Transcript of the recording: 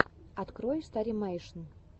открой старимэйшн